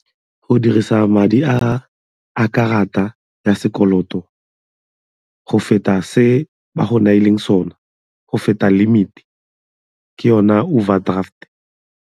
Go dirisa madi a karata ya sekoloto go feta se ba go neileng sone, go feta limit ke yona overdraft.